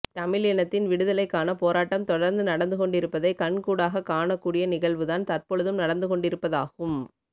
தமிழினத்தின் விடுதலைக்கான போராட்டம் தொடர்ந்து நடந்து கொண்டிருப்பதை கண்கூடாகக் காணக்கூடிய நிகழ்வுதான் தற்பொழுதும் நடந்துகொண்டிருப்பதாகும்